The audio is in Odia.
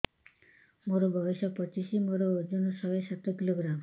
ମୋର ବୟସ ପଚିଶି ମୋର ଓଜନ ଶହେ ସାତ କିଲୋଗ୍ରାମ